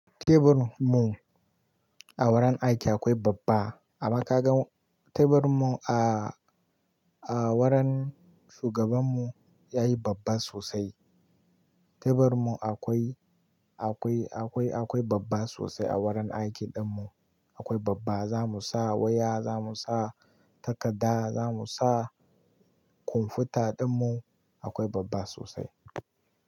Teburi mu a wurin aiki akwai babba, amma ka ga teburi mu a, a wurin shugaban mu yayi babba sosai. Teburi mu akwai, akwai, akwai, akwai babba sosai a wurin aiki ɗin mu. Akwai babba za mu sa waya, za mu sa takarda, za mu sa kwamfuta ɗin mu, akwai babba sosai.